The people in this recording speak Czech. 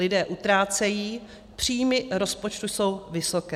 Lidé utrácejí, příjmy rozpočtu jsou vysoké.